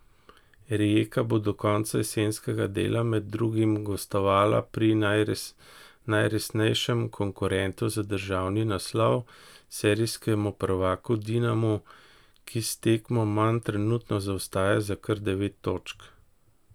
Rijeka bo do konca jesenskega dela med drugim gostovala pri najresnejšem konkurentu za državni naslov, serijskemu prvaku Dinamu, ki s tekmo manj trenutno zaostaja za kar devet točk.